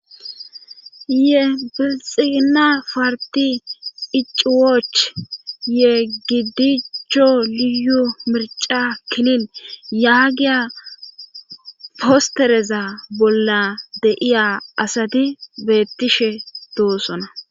ye bilxigina parti icuwoch ye gidiccho liyu mirca kinin yaagiya postereza bolla deiya asati beettishe doosona